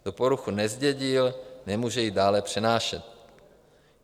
Kdo poruchu nezdědil, nemůže ji dále přenášet.